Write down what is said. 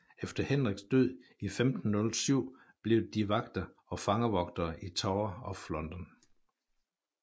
Efter Henriks død i 1507 blev de vagter og fangevogtere i Tower of London